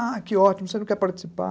Ah, que ótimo, você não quer participar?